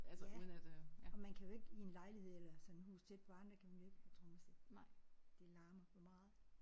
Ja. Og man kan jo ikke i en lejlighed eller sådan et hus tæt på andre kan man jo ikke have trommesæt. Det larmer for meget